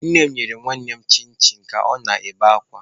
Nne m nyere nwannem chin chin ka ọ na-ebe akwa.